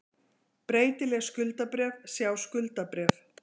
Breytileg skuldabréf, sjá skuldabréf